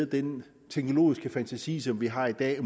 den teknologiske fantasi som vi har i dag